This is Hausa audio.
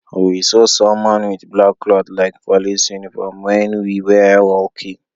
We saw someone with black cloth like police uniform, when we were walking.